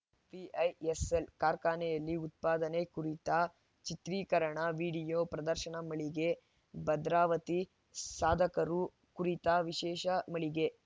VISL ಕಾರ್ಖಾನೆಯಲ್ಲಿ ಉತ್ಪಾದನೆ ಕುರಿತ ಚಿತ್ರೀಕರಣವಿಡಿಯೋ ಪ್ರದರ್ಶನ ಮಳಿಗೆ ಭದ್ರಾವತಿ ಸಾಧಕರು ಕುರಿತ ವಿಶೇಷ ಮಳಿಗೆ